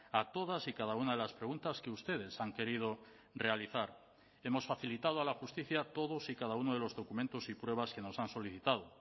a todas y cada una de las preguntas que ustedes han querido realizar hemos facilitado a la justicia todos y cada uno de los documentos y pruebas que nos han solicitado